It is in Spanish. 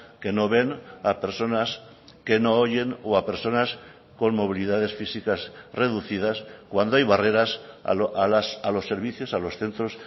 que no ven a personas que no oyen o a personas con movilidades físicas reducidas cuando hay barreras a los servicios a los centros